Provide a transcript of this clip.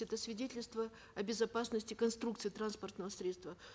это свидетельство о безопасности конструкции транспортного средства